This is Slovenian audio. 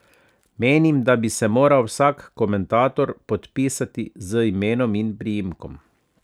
Menim, da bi se moral vsak komentator podpisati z imenom in priimkom.